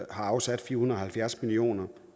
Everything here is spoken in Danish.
afsat fire hundrede og halvfjerds million